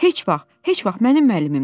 Heç vaxt, heç vaxt mənim müəllimimdir!